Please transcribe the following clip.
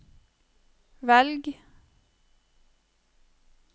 velg